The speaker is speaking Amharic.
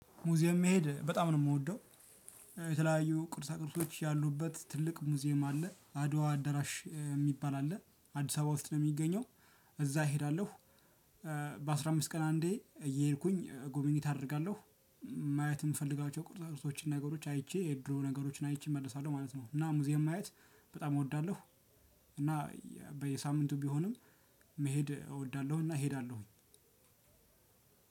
ሙዚየም መሄድ በጣም ነው የምወደው። የተለያዩ ቅርሳ ቅርሶች ያሉበት ትልቅ ሙዚየም አለ አድዋ አዳራሽ የሚባል አለ አዲስ አበባ ውስጥ ነው የሚገኘው እዛ እሄዳለሁ። በአስራ አምስት ቀን አንዴ እየሄድኩኝ ጉበኝት አደርጋለሁ። ማየት የምፈልጋቸው ቅርሳ ቅርሶችን ነገሮች አይቼ የድሮ ነገሮችን አይቼ እመልሳለሁ ማለት ነው። እና ሙዚየም ማየት በጣም እወዳለሁ። እና በየሳምንቱ ቢሆንም መሄድ እወዳለሁና እሄዳለሁኝ።